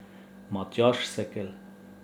Matjaž Sekelj?